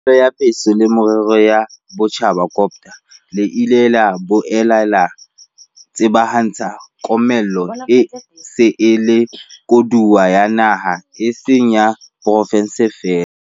panelo ya Puso le Merero ya Botjhaba, COGTA, le ile la boela la tsebahatsa komello e se e le koduwa ya naha e seng ya porofenseng feela.